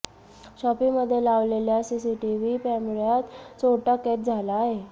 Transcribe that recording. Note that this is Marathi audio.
शॉपीमध्ये लावलेल्या सीसीटीव्ही पॅमेऱयात चोरटा कैद झाला आहे